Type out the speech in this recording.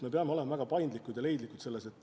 Me peame olema paindlikud ja leidlikud.